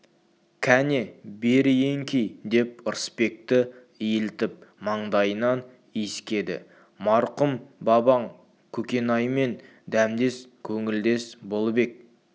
кәне бері еңкей деп ырысбекті иілтіп маңдайынан иіскеді марқұм бабаң көкенаймен дәмдес көңілдес болып ек